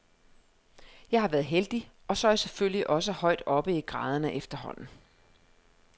Jeg har været heldig, og så er jeg selvfølgelig også højt oppe i graderne efterhånden.